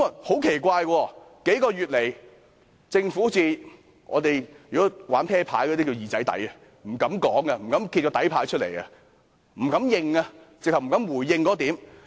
很奇怪，數個月來，政府好像玩撲克牌的術語"二仔底"般，不敢說，不敢揭底牌，甚至不敢回應那一點。